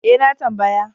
E, na tambaya.